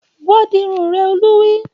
Wá dirun rẹ! Olú wí